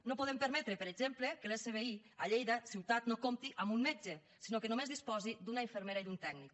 no podem permetre per exemple que l’svi a lleida ciutat no compti amb un metge sinó que només disposi d’una infermera i d’un tècnic